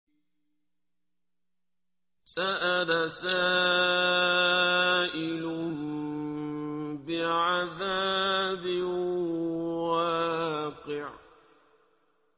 سَأَلَ سَائِلٌ بِعَذَابٍ وَاقِعٍ